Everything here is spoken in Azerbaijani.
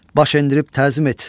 Baş endirib təzim et.